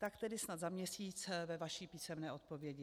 Tak tedy snad za měsíc ve vaší písemné odpovědi.